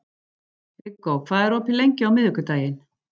Viggó, hvað er opið lengi á miðvikudaginn?